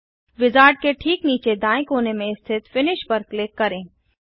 wizard के ठीक नीचे दाएँ कोने में स्थित फिनिश पर क्लिक करें